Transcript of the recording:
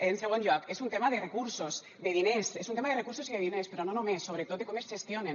en segon lloc és un tema de recursos de diners és un tema de recursos i de diners però no només sobretot de com es gestionen